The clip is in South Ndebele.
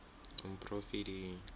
umporofidi